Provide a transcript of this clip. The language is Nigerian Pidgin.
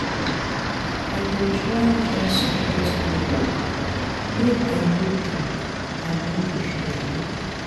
I go try join support group, make I no dey I no dey feel alone.